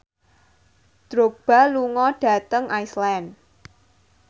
Drogba lunga dhateng Iceland